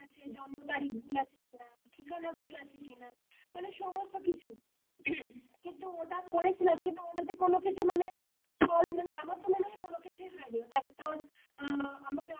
জন্ম তারিখ ভুল আছে কিনা ঠিকানা ভুল আছে কিনা মানে সমস্ত কিছু কিন্তু ওটা করেছিলাম কিন্তু ওটাতে কোন কিছু মানে ফল মানে আমার তো মনে হয় কোন কিছুই হয়নি তারপর তোর,